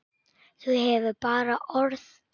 Þú hefur bara orð.